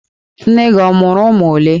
Nne gị ọ mụrụ ụmụ olee?